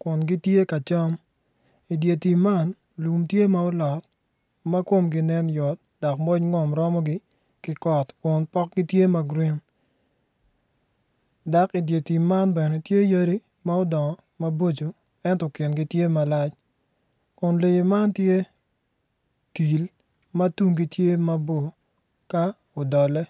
kun gitye kacam idye tim man lum tye ma olot makomgi nen yot dok moc rom romogi kigot kun potgi tye ma green dok idyer tim man bene tye yadi ma odongo maboco ento kingi tye malac kun lee man tye til matunggi tye maboko ka odole.